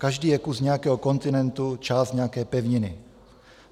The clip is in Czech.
Každý je kus nějakého kontinentu, část nějaké pevniny.